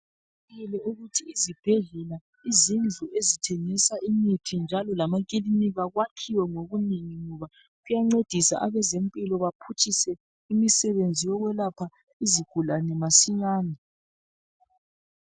Kuqakathekile ukuthi izibhedlela , izindlu ezithengisa imithi kanye lamakilinika kwakhiwe ngobunengi ngoba kuyancedisa abezempilo batshuphise umsebenzi wokwelapha izigulane masinyane.